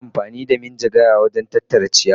Ana amfani da rake wajen tattara ciyawa.